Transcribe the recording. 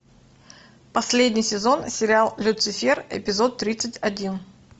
последний сезон сериал люцифер эпизод тридцать один